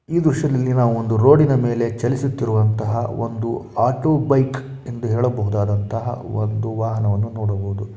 ಈ ದೃಶ್ಯದಲ್ಲಿ ನಾವು ಒಂದು ರೋಡ್ ನ ಮೇಲೆ ಚಲಿಸುತ್ತಿರುವಂತಃ ಒಂದು ಆಟೋ ಬೈಕ್ ಎಂದು ಹೇಳಬಹುದಾದಂತಹ ಒಂದು ವಾಹನವನ್ನು ನೋಡಬಹುದು.